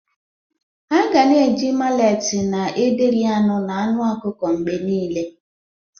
A ga na-eji maleti na ederi anụ na anụ ọkụkọ mgbe niile.